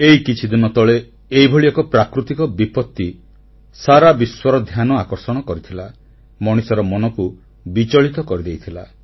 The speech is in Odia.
ଏଇ କିଛିଦିନ ତଳେ ଏହିଭଳି ଏକ ପ୍ରାକୃତିକ ବିପତ୍ତି ସାରା ବିଶ୍ୱର ଧ୍ୟାନ ଆକର୍ଷଣ କରିଥିଲା ମଣିଷର ମନକୁ ବିଚଳିତ କରିଦେଇଥିଲା